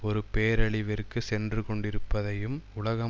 ஒரு பேரழிவிற்கு சென்று கொண்டிருப்பதையும் உலகம்